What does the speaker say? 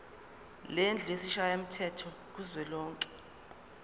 lendlu yesishayamthetho kuzwelonke